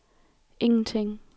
ingenting